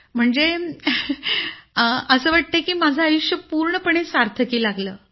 म्हणजे असं वाटतंय की माझं आयुष्य पूर्णपणे सार्थकी लागलं